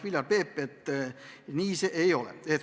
Viljar Peep vastas, et nii see ei ole.